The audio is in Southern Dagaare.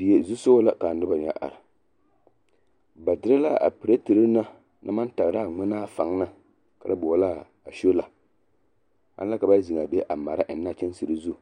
Die zusogɔ la k'a noba ŋa are ba dere a piletiri na naŋ maŋ tagira a ŋmenaa faŋ na kare boɔlaa a sola, aŋ la ka ba zeŋ a be a mara a kyɛnsere zu,